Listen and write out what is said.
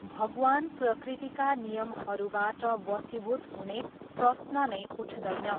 भगवान प्रकृतिका नियमहरूबाट वशीभूत हुने प्रश्न नै उठदैन।